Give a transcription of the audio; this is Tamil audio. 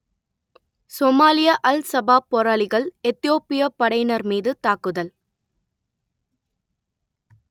சோமாலிய அல் சபாப் போராளிகள் எத்தியோப்பியப் படையினர் மீது தாக்குதல்